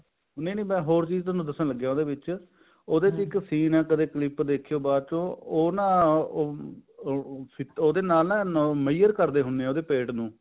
ਤਾਂ ਹੋਰ ਚੀਜ਼ ਦੱਸਣ ਲੱਗਿਆ ਉਹਦੇ ਵਿੱਚ ਉਹਦੇ ਇੱਕ ਅਹਿ ਕਦੇ clip ਦੇਖਿਓ ਬਾਅਦ ਚ ਉਹ ਨਾ ਉਹ ਉਹਦੇ ਨਾਲ ਨਾ measure ਕਰਦੇ ਹੁੰਦੇ ਨੇ ਉਹਦੇ ਪੇਟ ਨੂੰ